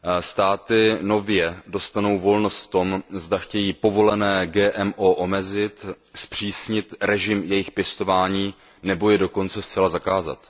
Státy nově dostanou volnost v tom, zda chtějí povolené GMO omezit, zpřísnit režim jejich pěstování nebo je dokonce zcela zakázat.